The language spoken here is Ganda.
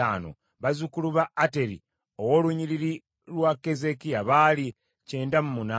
bazzukulu ba Ateri ow’olunnyiriri lwa Keezeekiya baali kyenda mu munaana (98),